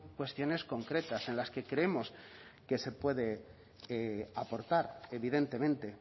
cuestiones concretas en las que creemos que se puede aportar evidentemente